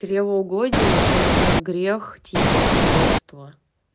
чревоугодие это грех типа обжорство